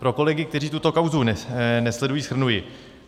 Pro kolegy, kteří tuto kauzu nesledují, shrnuji.